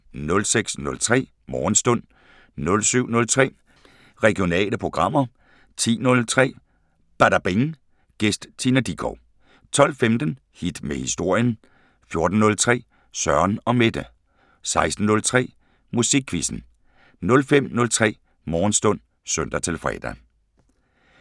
06:03: Morgenstund 07:03: Regionale programmer 10:03: Badabing: Gæst Tina Dickow 12:15: Hit med historien 14:03: Søren & Mette 16:03: Musikquizzen 05:03: Morgenstund (søn-fre)